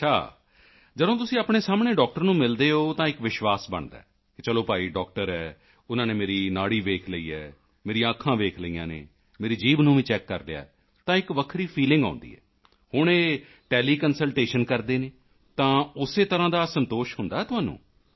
ਅੱਛਾ ਜਦੋਂ ਤੁਸੀਂ ਆਪਣੇ ਸਾਹਮਣੇ ਡਾਕਟਰ ਨੂੰ ਮਿਲਦੇ ਹੋ ਤਾਂ ਇੱਕ ਵਿਸ਼ਵਾਸ ਬਣਦਾ ਹੈ ਚਲੋ ਭਾਈ ਡਾਕਟਰ ਹੈ ਉਨ੍ਹਾਂ ਨੇ ਮੇਰੀ ਨਾੜੀ ਵੇਖ ਲਈ ਹੈ ਮੇਰੀਆਂ ਅੱਖਾਂ ਵੇਖ ਲਈਆਂ ਹਨ ਮੇਰੀ ਜੀਭ ਨੂੰ ਵੀ ਚੈੱਕ ਕਰ ਲਿਆ ਹੈ ਤਾਂ ਇੱਕ ਵੱਖ ਫੀਲਿੰਗ ਆਉਂਦੀ ਹੈ ਹੁਣ ਇਹ ਟੈਲੀਕੰਸਲਟੇਸ਼ਨ ਕਰਦੇ ਹਨ ਤਾਂ ਉਸੇ ਤਰ੍ਹਾਂ ਹੀ ਸੰਤੋਸ਼ ਹੁੰਦਾ ਹੈ ਤੁਹਾਨੂੰ